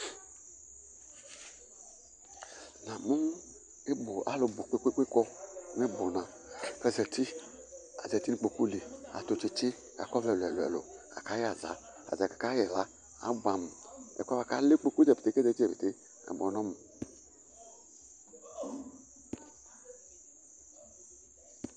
Ŋamu ɩbʊ, alʊ ɓu ƙpékpé ƙɔ ŋɩɓʊna, ƙazatɩ, ƙazatɩ ŋʊ ɩƙpoƙʊ lɩ, atʊ tsɩtsɩ, ƙakɔ ɔʋlɛ ɛlʊ ɛlʊ Aƙa ƴɛ aza, ataɖja aƙa ƴɛ aza ƙaɓʊɛ amʊ Ɛƒoɛ ƙalɛ ɩƙpoƙʊ ƙazati ƙéƙé aɓʊɛ ŋɔmʊ